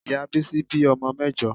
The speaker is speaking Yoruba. Ìyá Bísí bí ọmọ mẹ́jọ.